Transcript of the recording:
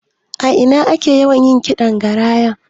A ina ake yawan yin ƙidan Garaya?